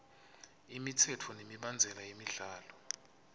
imitsetfo nemibandzela yemidlalo